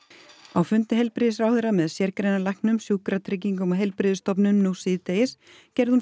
á fundi heilbrigðisráðherra með sérgreinalæknum Sjúkratryggingum og heilbrigðisstofnunum nú síðdegis gerði hún